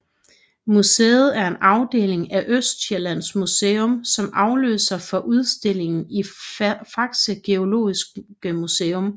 Museet er en afdeling af Østsjællands Museum som afløser for udstillingen i Fakse Geologiske Museum